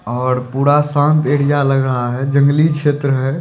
और पूरा शांत एरिया लग रहा है जंगली क्षेत्र है।